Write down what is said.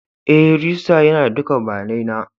E, rijistira yana da dukan bayanai na.